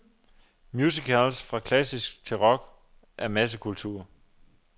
Musicals, fra klassisk til rock, er massekultur.